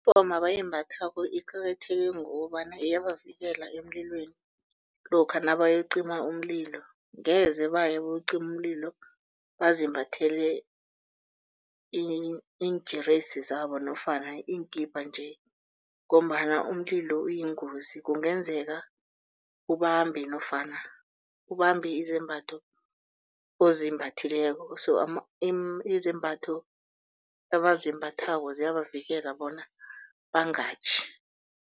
abayimbathako iqakatheke ngokobana iyabavikela emlilweni lokha nabayokucima umlilo ngeze bayayokucima umlilo bazimbathele iinjeresi zabo nofana iinkipa nje. Ngombana umlilo uyingozi kungenzeka ubambe nofana ubambe izembatho ozimbathileko so izembatho abazimbathako ziyabavikela bona bangatjhi.